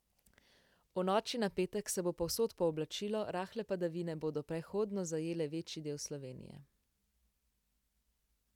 V noči na petek se bo povsod pooblačilo, rahle padavine bodo prehodno zajele večji del Slovenije.